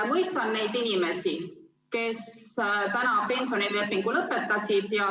Mõistan igati inimesi, kes pensionilepingu lõpetasid.